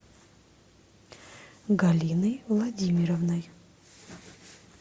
галиной владимировной